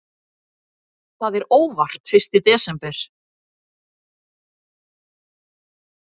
Það er óvart fyrsti desember.